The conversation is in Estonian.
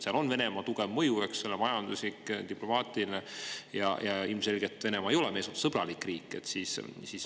Seal on Venemaa tugev majanduslik ja diplomaatiline mõju ja ilmselgelt Venemaa ei ole meie suhtes sõbralik riik.